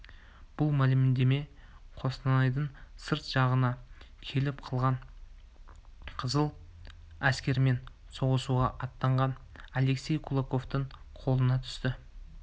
бұл мәлімдеме қостанайдың сырт жағына келіп қалған қызыл әскермен соғысуға аттанған алексей кулаковтың қолына түсті